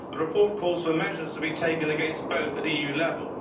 The report calls for measures to be taken against both at EU level.